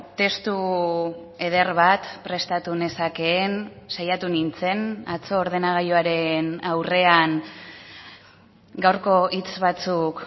testu eder bat prestatu nezakeen saiatu nintzen atzo ordenagailuaren aurrean gaurko hitz batzuk